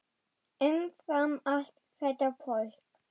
Umfram allt þetta fólk.